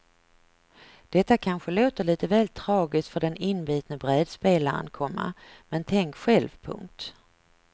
Detta kanske låter lite väl tragiskt för den inbitne brädspelaren, komma men tänk själv. punkt